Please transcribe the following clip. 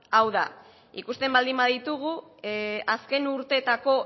hau da ikusten baldin baditugu azken urteetako